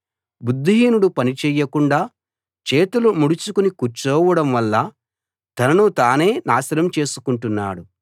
బుద్ధిహీనుడు పని చేయకుండా చేతులు ముడుచుకుని కూర్చోవడం వల్ల తనను తనే నాశనం చేసుకుంటున్నాడు